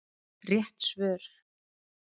Rétt svör